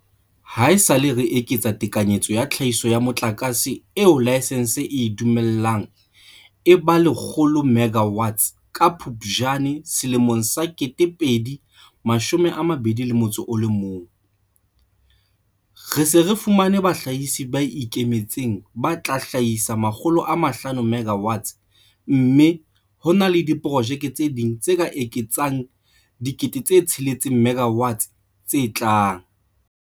Haesale re eketsa tekanyetso ya tlhahiso ya motlakase eo laesense e e dumellang e ba 100 megawatts ka Phuptjane 2021, re se re fumane bahlahisi ba ikemetseng ba tla hlahisa 500 MW mme ho na le diprojeke tse ding tse ka etsang 6 000 MW tse tlang.